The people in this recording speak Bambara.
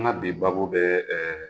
An ka bi babu bɛ ɛɛ